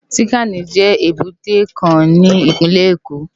Tinkáni jè ébùté kán ni ipinlè Ékó